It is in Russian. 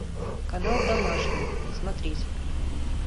канал домашний смотреть